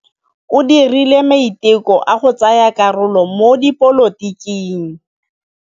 O dirile maitekô a go tsaya karolo mo dipolotiking.